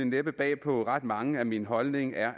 næppe bag på ret mange at min holdning er